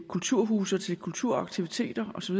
kulturhuse og til kulturaktiviteter osv